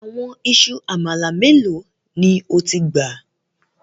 Àwọn ìṣù amala melo ni o ti gba?